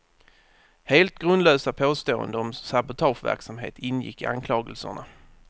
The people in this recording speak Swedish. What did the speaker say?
Helt grundlösa påståenden om sabotageverksamhet ingick i anklagelserna.